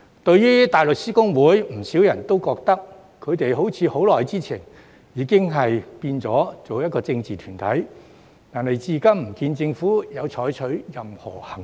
對於大律師公會，不少人也覺得，他們好像很久前已變成一個政治團體，但至今不見政府有採取任何行動。